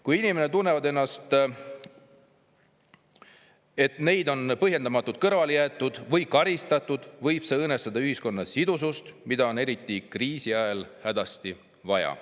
Kui inimesed tunnevad, et neid on põhjendamatult kõrvale jäetud või karistatud, võib see õõnestada ühiskonna sidusust, mida on eriti kriisi ajal hädasti vaja.